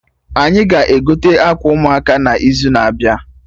Anyị ga-egote akwa ụmụaka n'izu na-abịa